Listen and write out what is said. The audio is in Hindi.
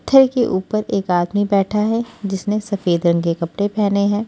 पत्थर के ऊपर एक आदमी बैठा है जिसने सफेद रंग के कपड़े पहने हैं।